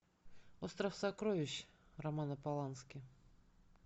остров сокровищ романа полански